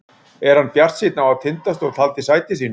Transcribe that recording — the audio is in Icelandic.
Er hann bjartsýnn á að Tindastóll haldi sæti sínu?